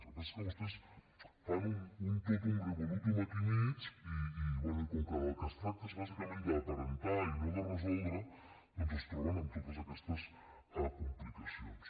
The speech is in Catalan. el que passa és que vostès fan un totum revoltum aquí al mig i bé i com que del que es tracta és bàsicament d’aparentar i no de resoldre doncs es troben amb totes aquestes complicacions